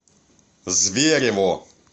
зверево